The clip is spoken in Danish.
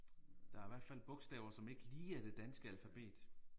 Der er hvert fald bogstaver som ikke lige er det danske alfabet